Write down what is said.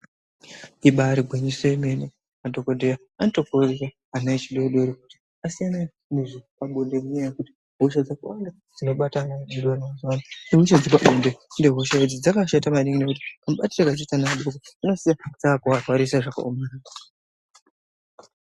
Ibaari gwinyiso yemene madhokodheya anotokurudzira ana echidodori kuti asiyane nezvepabonde ngenyaya yekuti hosha dzakawanda dzinobata ana adodori mazuwano, ihosha dzepabonde, ende hosha idzi dzakashata maningi ngekuti dzinosiya dzaakuvarwarisa zvakaoma.